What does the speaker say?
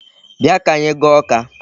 Bịa ka anyị gaa Awka.